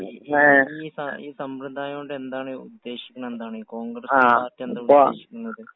ങാ..ഈ അപ്പൊ ഈ സമ്പ്രദായം കൊണ്ട് എന്താണ്...ഉദ്ദേശിക്കുന്നതെന്താണ്? കോൺഗ്രസ് പാർട്ടി എന്താ ഉദ്ദേശിക്കുന്നത്?